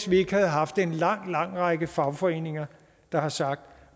vi havde haft en lang lang række fagforeninger der har sagt